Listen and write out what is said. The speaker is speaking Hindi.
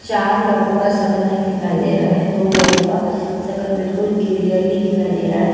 चार लोगों का सकल नहीं दिखाई दे रहा है दो लोगों का सकल बिलकुल क्लीयरली दिखाई दे रहा है।